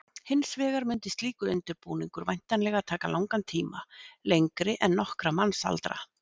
Hins vegar mundi slíkur undirbúningur væntanlega taka langan tíma, lengri en nokkra mannsaldra.